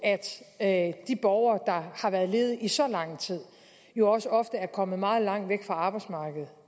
at de borgere har været ledige i så lang tid jo også ofte er kommet meget langt væk fra arbejdsmarkedet